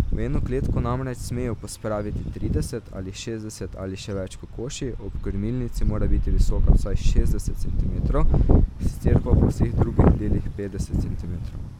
V eno kletko namreč smejo pospraviti trideset ali šestdeset ali še več kokoši, ob krmilnici mora biti visoka vsaj šestdeset centimetrov, sicer pa po vseh drugih delih petdeset centimetrov.